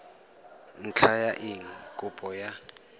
ntlha ya eng kopo ya